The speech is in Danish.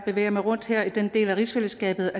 bevæger mig rundt her i denne del af rigsfællesskabet